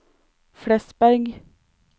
Flesberg